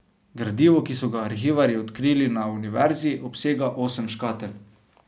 Gradivo, ki so ga arhivarji odkrili na univerzi, obsega osem škatel.